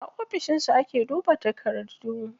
A ofishin su ake duba takardu.